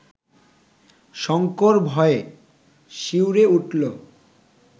শঙ্কর ভয়ে শিউরে উঠল